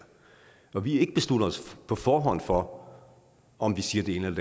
og vi har ikke besluttet os på forhånd for om vi siger det ene